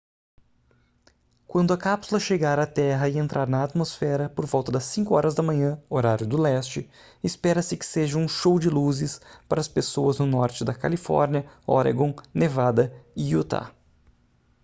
quando a cápsula chegar à terra e entrar na atmosfera por volta das 5 horas da manhã horário do leste espera-se que seja um show de luzes para as pessoas no norte da califórnia oregon nevada e utah